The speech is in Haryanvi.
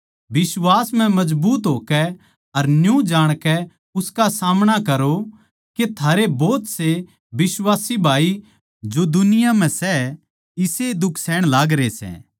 बिश्वास म्ह मजबूत होकै अर न्यू जाणकै उसका सामणा करो के थारे भोत से बिश्वासी भाई जो दुनिया म्ह सै इसेए दुख सहन लागरे सै